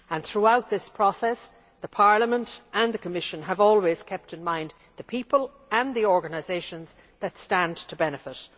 Throughout this process Parliament and the Commission have always kept in mind the people and the organisations that stand to benefit.